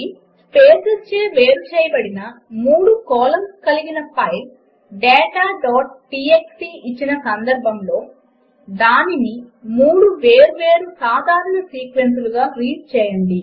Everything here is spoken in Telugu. స్పేసెస్ చే వేరు చేయబడిన మూడు కాలమ్స్ కలిగిన ఫైల్ dataటీఎక్స్టీ ఇచ్చిన సందర్భములో దానిని 3 వేర్వేరు సాధారణ సీక్వెన్సులుగా రీడ్ చేయండి